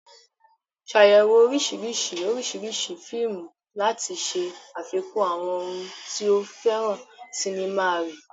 Ṣàyẹ̀wò oríṣiríṣi oríṣiríṣi fíìmù láti ṣe àfikún àwọn ohun tí o fẹ́ràn sinimá rẹ.